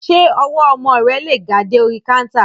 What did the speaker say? Ṣé ọwọ́ ọmọ rẹ lè ga dé orí káńtà?